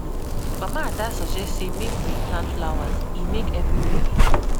Mama Ada suggest say make we plant flowers, e make everywhere fine